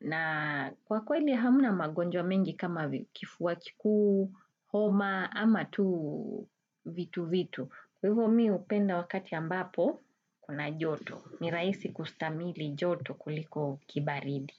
Na kwa kweli hamna magonjwa mengi kama kifuwa kikuu, homa, ama tu vitu vitu. Kwa hivo mi hupenda wakati ambapo, kuna joto. Miraisi kustamili joto kuliko kibaridi.